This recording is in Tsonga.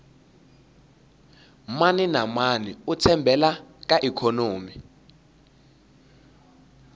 mani na mani u tshembele ka ikhonomi